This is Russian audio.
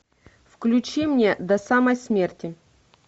включи мне до самой смерти